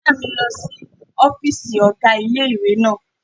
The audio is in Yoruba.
Ìyá mi lọ sí ọ́fìsì ọ̀gá ilé-ìwé náà